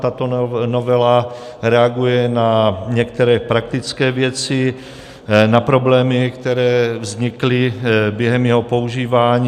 Tato novela reaguje na některé praktické věci, na problémy, které vznikly během jeho používání.